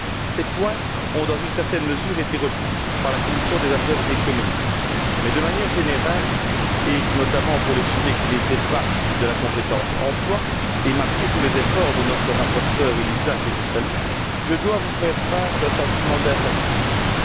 Ces points ont, dans une certaine mesure, été repris par la commission des affaires économiques mais, de manière générale, et notamment pour les sujets qui n'étaient pas de la compétence emploi, et malgré tous les efforts de notre rapporteure, Elisa Ferreira, que je salue, je dois vous faire part d'un sentiment d'insatisfaction.